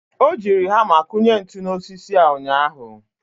o jiri hama kụnye ntu n'osisi a ụnyaahụ.